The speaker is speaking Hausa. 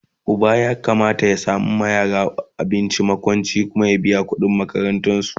Uba ya Kamata ya samawa yara makwanci, abinci, ya biya kudin makaranta da sauransu